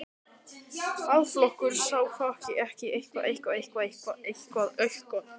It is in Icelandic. Alþýðuflokkurinn sá ekki annan kost í stöðunni en að víkja honum frá störfum hjá Alþýðublaðinu.